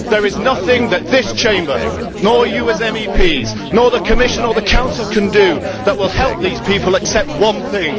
There is nothing that this Chamber nor you as MEPs, nor the Commission or the Council can do that will help these people except one thing.